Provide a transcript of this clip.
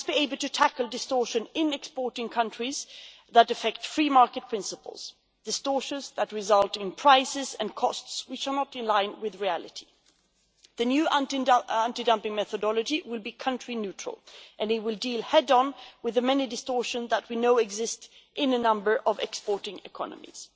We must be able to tackle distortions in exporting countries that affect free market principles distortions that result in prices and costs which are not in line with reality. The new anti dumping methodology will be country neutral and it will deal head on with the many distortions that we know exist in a number of exporting economies.